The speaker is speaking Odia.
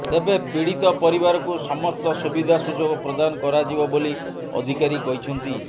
ତେବେ ପୀଡିତ ପରିବାରକୁ ସମସ୍ତ ସୁବିଧା ସୁଯୋଗ ପ୍ରଦାନ କରାଯିବ ବୋଲି ଅଧିକାରୀ କହିଛନ୍ତି